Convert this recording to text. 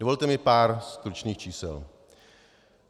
Dovolte mi pár stručných čísel.